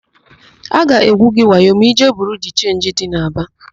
A ga-egwu gị wayo ma ịjee Biriu de Chenji dị n'Aba.